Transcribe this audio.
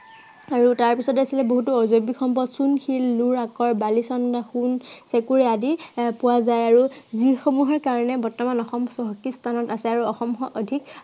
আৰু তাৰপিছতো আছিলে বহুতো সম্পদ চূণশিল, লোৰ আকৰ, বালিচন্দা, সোণ, ভেকুঁৰ আদি পোৱা যায় আৰু আহ যি সমূহৰ কাৰনে বৰ্তমান অসম চহকী স্থানত আছে আৰু অসমখন অধিক